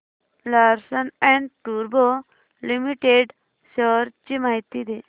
Larsen and टुर्बो limited shares ची माहिती दे